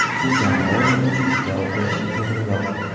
U jamoa o‘yini uchun javob berishi to‘g‘riroq.